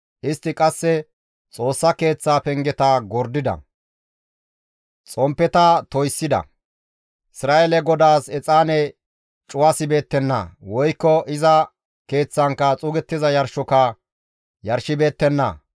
Istti qasse Xoossa Keeththaa pengeta gordida; xomppeta toyssida; Isra7eele GODAAS exaane cuwasibeettenna; woykko iza Keeththankka xuugettiza yarshoka yarshibeettenna.